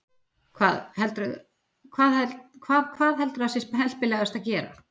Hvað, hvað heldurðu að sé heppilegast að gera?